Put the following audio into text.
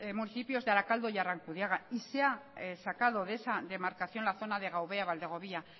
municipios de arakaldo y arrankudiaga y se ha sacado de esa demarcación la zona de gaubea valdegovía